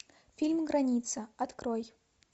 фильм граница открой